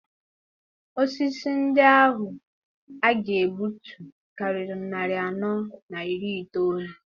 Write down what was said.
Osisi ndị ahụ a ga-egbutu karịrị narị anọ na iri itoolu.